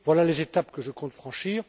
Voilà les étapes que je compte franchir.